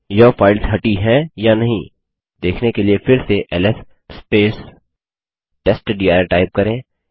यह फाइल्स हटी हैं या नहीं देखने के लिए फिर से एलएस टेस्टडिर टाइप करें